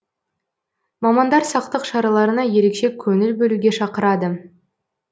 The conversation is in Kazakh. мамандар сақтық шараларына ерекше көңіл бөлуге шақырады